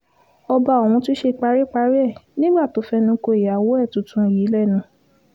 ọba ọ̀hún tún ṣe paríparí ẹ̀ nígbà tó fẹnu ko ìyàwó ẹ̀ tuntun yìí lẹ́nu